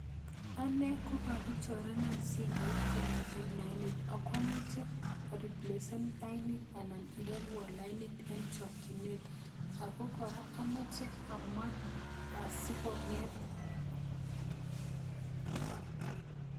Ane kokakichorenan simoit, kamiten lainit, akwomoche ariplesen lainit, anan iwolwon lainit en chakchinet. Ago kora, amochei amwa asikong'et